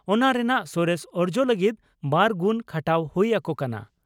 ᱚᱱᱟ ᱨᱮᱱᱟᱜ ᱥᱚᱨᱮᱥ ᱚᱨᱡᱚ ᱞᱟᱹᱜᱤᱫ ᱵᱟᱨ ᱜᱩᱱ ᱠᱷᱟᱴᱟᱣ ᱦᱩᱭ ᱟᱠᱚ ᱠᱟᱱᱟ ᱾